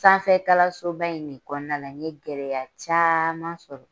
Sanfɛkalansoba in de kɔnɔna la n ye gɛlɛya caman sɔrɔ